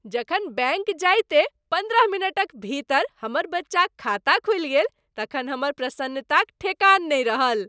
जखन बैंक जाइते पन्द्रह मिनटक भीतर हमर बच्चाक खाता खुलि गेल तखन हमर प्रसन्नताक ठेकान नहि रहल।